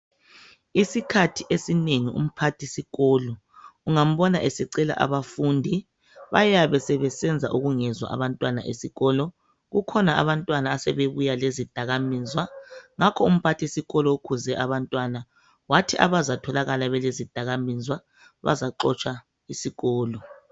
iskhathi esinengi umphathi sikolo ungambona esecela abafundi bayabe besenza ubungezwa abantwana besikolo. Kukhona abantwana asebebuya lezidakamizwa ngakho umphathisikolo ukhuze abantwana wathi abazatholakala belezidakamizwa bazaxotshwa isikolo.